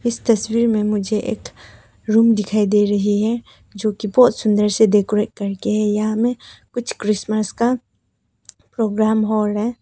तस्वीर में मुझे एक रूम दिखाई दे रही है जो कि बहुत सुंदर से डेकोरेट करके है यहां में कुछ क्रिसमस का प्रोग्राम हो रहा है।